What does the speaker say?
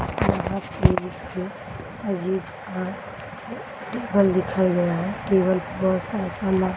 यहाँ पर एक अजीब सा टेबल दिखाई दे रहा है टेबल पर बहुत सारा सामान --